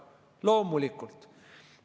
Loomulikult!